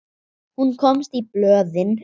Hún komst í blöðin.